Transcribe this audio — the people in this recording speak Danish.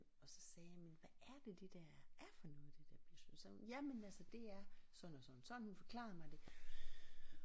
Og så sagde jeg men hvad er det der er for noget det der mysli så sagde hun jamen altså det er sådan og sådan og sådan hun forklarede mig det